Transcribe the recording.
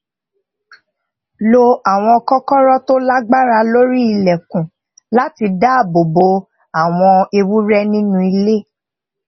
lo àwọn kókóró tó lágbára lórí ilèkùn láti dáàbò bo àwọn ewúré nínú ilé